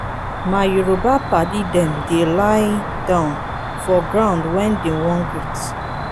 my yoruba paddy dem dey lie-down for ground wen dey wan greet.